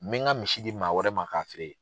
N mi ka misi di maa wɛrɛ ma ka feere.